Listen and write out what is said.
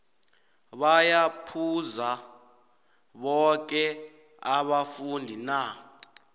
baya phuza boke abafundi na